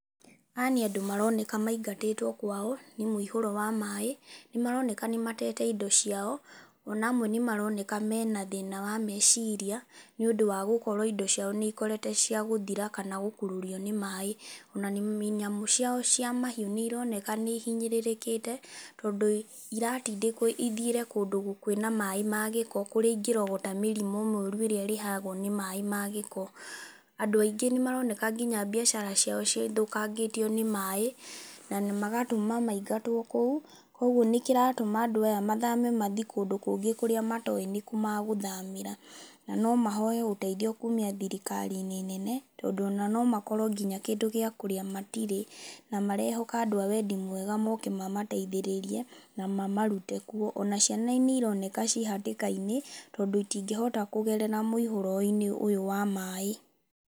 Aya nĩ andũ maroneka maingatĩtwo kwao, nĩ mũihũro wa maaĩ. Nĩ maroneka nĩ matete indo ciao, ona amwe nĩ maroneka mena thĩna wa meciria, nĩ ũndũ wa gũkorwo indo ciao nĩ ikoretwo cia gũthira kana gũkururio nĩ maaĩ. Ona nyamũ ciao cia mahiũ nĩ ironeka nĩ ihinyĩrĩrĩkĩte, tondũ iratindĩkwo ithiĩre kũndũ kwĩna maaĩ ma gĩko kũrĩa ingĩrogota mĩrimũ mĩũru ĩrĩa ĩrehagwo nĩ maaĩ ma gĩko. Andũ aingĩ nĩ maroneka nginya biacara ciao cithũkangĩtio nĩ maaĩ, na magatũma maingatwo kũu. Kũguo nĩ kĩratũma andũ aya mathame mathi kũndũ kũrĩa matoĩ nĩ kũ magũthamĩra. Na no mahoe ũteithio kuumia thirikari-inĩ nene, tondũ ona no makorwo nginya kĩndũ gĩa kũrĩa matirĩ, na marehoka andũ a wendi mwega moke mamateithĩrĩrie, na mamarute kuo. Ona ciana nĩ ironeka ci hatĩka-inĩ, tondũ itingĩhota kũgerera mũihoro-inĩ ũyũ wa maaĩ.